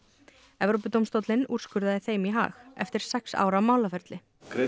Evrópudómstólinn úrskurðaði þeim í hag eftir sex ára málaferli